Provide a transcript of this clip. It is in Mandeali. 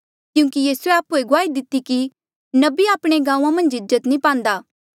क्यूंकि यीसूए आप्हुए गुआही दिती कि नबी आपणे गांऊँ मन्झ इज्जत नी पांदा